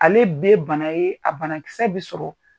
Ale be bana ye, a banakisɛ bɛ sɔrɔ